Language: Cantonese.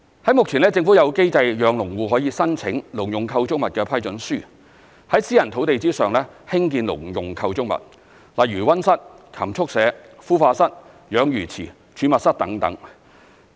在目前，政府有機制讓農戶可以申請農用構築物批准書，在私人農地上興建農用構築物，例如溫室、禽畜舍、孵化室、養魚池、儲物室等。